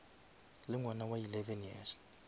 le ngwana wa eleven years